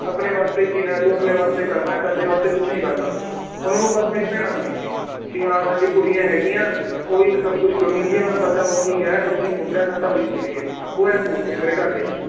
ਆਪਣੇ ਵਾਸਤੇ ਜੀਣਾ ਏ ਤੂੰ ਆਪਣੇ ਵਾਸਤੇ ਕਰਨਾ ਏ ਸਾਡੇ ਵਾਸਤੇ ਕੁਛ ਨੀ ਕਰਨਾ, ਉਹਨਾਂ ਨੂੰ ਬੱਸ ਮੇਰੀ ਭੈਣਾਂ ਦਿਖਦੀਆਂ ਏ ਵੀ ਹਾਂ ਸਾਡੀ ਕੁੜੀਆਂ ਹੈਗੀਆਂ ਓਹੀ ਇੱਕ ਸਬ ਕੁਛ ਕਰੂੰਗੀਆਂ ਸਾਡਾ ਓਹੀ ਏ ਓਹੀ ਮੁੰਡਾ ਹੈ ਸਾਡਾ ਓਹੀ ਕੁੜੀ ਏ ਉਹ ਇਉਂ ਸੋਚਦੇ ਆ ਮੇਰੇ ਘਰਦੇ